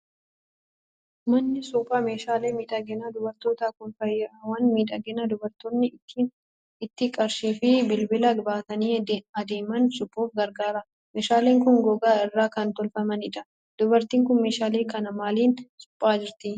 Manni suphaa meeshaalee miidhaginaa dubartootaa kun faayawwan miidhaginaa dubartoonni itti qarshii fi bilbila baatanii adeeman suphuuf gargaara. Meeshaaleen kun gogaa irraa kan tolfamanidha. Dubartiin kun meeshaalee kana maaliin suphaa jirti?